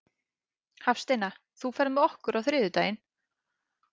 Hafsteina, ferð þú með okkur á þriðjudaginn?